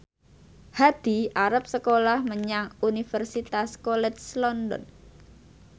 Hadi arep sekolah menyang Universitas College London